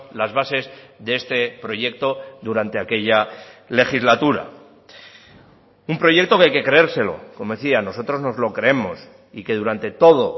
las bases de este proyecto durante aquella legislatura un proyecto que hay que creérselo como decía nosotros nos lo creemos y que durante todo